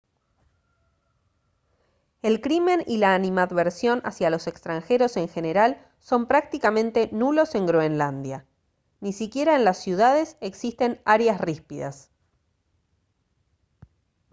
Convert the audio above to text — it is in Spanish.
el crimen y la animadversión hacia los extranjeros en general son prácticamente nulos en groenlandia. ni siquiera en las ciudades existen «áreas ríspidas»